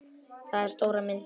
Þetta er stóra myndin hér.